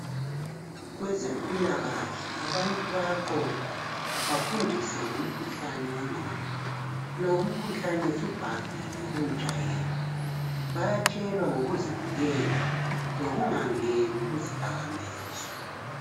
Kwezempilakahle abantu bayaqoqwa bafundiswe ngomkhuhlane wengqondo. Lo umkhuhlane subhahile kuntsha yethu. Bayatshelwa ngikuzivikela lokungangeni kudakamizwa.